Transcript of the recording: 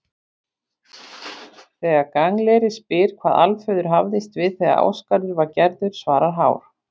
Þegar Gangleri spyr hvað Alföður hafðist við þegar Ásgarður var gerður svarar Hár: